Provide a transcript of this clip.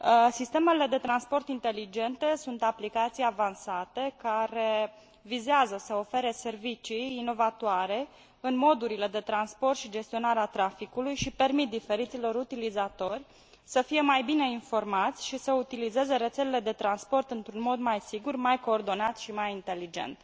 Sistemele de transport inteligente sunt aplicații avansate care vizează să ofere servicii inovatoare în modurile de transport și gestionarea traficului și permit diferiților utilizatori să fie mai bine informați și să utilizeze rețelele de transport într un mod mai sigur, mai coordonat și mai inteligent.